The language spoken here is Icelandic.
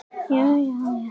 Kann ekkert á hann.